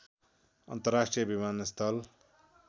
अन्तर्राष्ट्रिय विमानस्थल